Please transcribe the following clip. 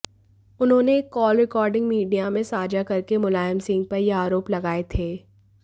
उन्होंने एक call recording media में साझा करके मुलायम सिंह पर यह आरोप लगाये थे